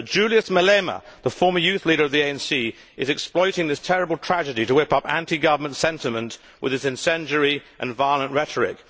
But Julius Malema, the former youth leader of the ANC, is exploiting this terrible tragedy to whip up anti government sentiment with his incendiary and violent rhetoric.